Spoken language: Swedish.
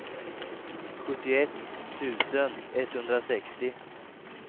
sjuttioett tusen etthundrasextio